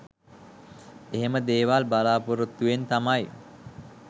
එහෙම දේවල් බලාපොරොත්තුවෙන් තමයි